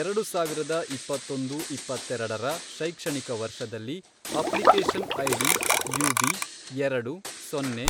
ಎರಡು ಸಾವಿರದ ಇಪ್ಪತ್ತೊಂದು, ಇಪ್ಪತ್ತೆರಡರ, ಶೈಕ್ಷಣಿಕ ವರ್ಷದಲ್ಲಿ, ಅಪ್ಲಿಕೇಷನ್ ಐಡಿ ಯುಬಿ, ಎರಡು, ಸೊನ್ನೆ,